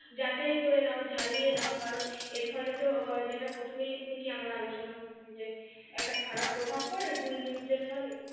যাচাই করে নাও ঝালিয়ে নাও কারন এর ফলে তো যেটা প্রথমেই থেকে আমরা আলোচনা করছি যে একটা খারাপ প্রভাব পড়ে ভুল news এর ফলে